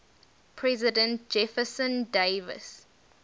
president jefferson davis